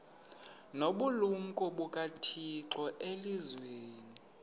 nobulumko bukathixo elizwini